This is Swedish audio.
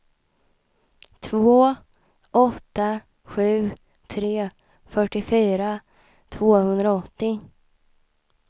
två åtta sju tre fyrtiofyra tvåhundraåttio